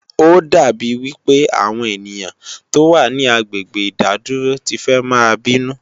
Ó dà bí wí pé àwọn ènìyàn tó wà ní agbègbè ìdádúró ti fẹ́ máa bínú